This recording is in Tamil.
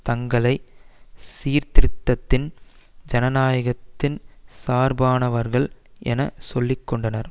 தங்களை சீர்திருத்தத்தினதும் ஜனநாயகத்தினதும் சார்பானவர்கள் என சொல்லிக்கொண்டனர்